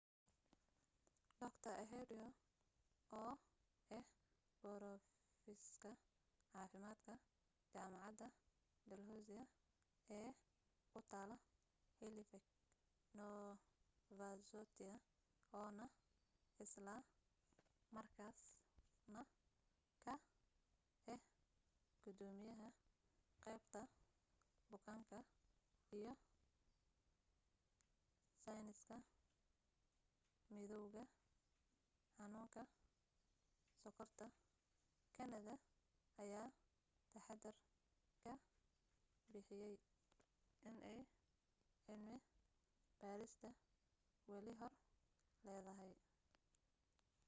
dr ehud ur oo ah borofisar caafimaadka jaamacada dalhousie ee ku taalo halifax nova scotia oo na isla markaas na ka ah gudoomiyaha qaybta bukaanka iyo sayniska midowga xanuunka sokorta canada ayaa taxadar ka bixiyay inay cilmi baarista wali hor leedahay